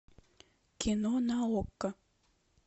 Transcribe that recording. кино на окко